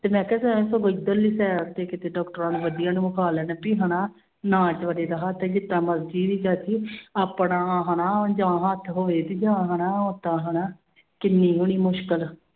ਤੇ ਮੈਂ ਕਿਹਾ ਸਨਾ ਤੂੰ ਕੋਈ ਇੱਧਰਲੀ side ਤੇ ਕਿਤੇ ਡਾਕਟਰਾਂ ਨੂੰ ਵਧੀਆ ਨੂੰ ਵਖਾ ਲੈਣ ਵੀ ਹਨਾ, ਨਾ ਬੇਚਾਰੇ ਦਾ ਹੱਥ ਜਿਸ ਤਰ੍ਹਾਂ ਮਰਜ਼ੀ ਵੀ ਚਾਚੀ ਆਪਣਾ ਹਨਾ ਜਾਂ ਹੱਥ ਹੋਵੇ ਤੇ ਜਾਂ ਹਨਾ ਓਦਾਂ ਹਨਾ ਕਿੰਨੀ ਬੜੀ ਮੁਸਕਲ